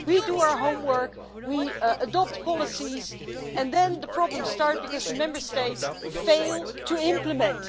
We do our homework, we adopt policies and then the problems start because the Member States fail to implement.